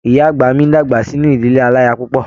Ìyá àgbà mí dàgbà sínú ìdílé alaya púpọ.